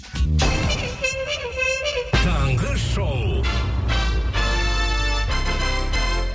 таңғы шоу